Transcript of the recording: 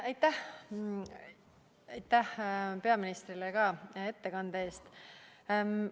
Aitäh ka peaministrile ettekande eest!